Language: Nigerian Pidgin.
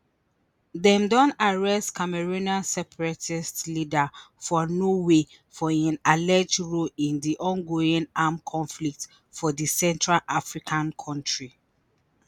dem don arrest cameroonian separatist leader for norway for im alleged role in di ongoing armed conflict for di central african kontri